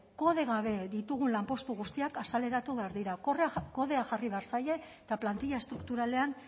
kode gabe ditugun lanpostu guztiak azaleratu behar dira kodea jarri behar zaie eta plantilla estrukturalean